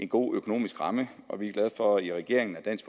god økonomisk ramme og vi er glade for i regeringen at dansk